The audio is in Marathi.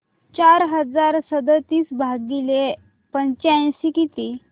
चार हजार सदतीस भागिले पंच्याऐंशी किती